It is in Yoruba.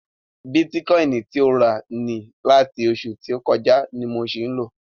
Bitikọini ti o rà ni láti oṣù tó kọjá ni mo ṣì ń lò.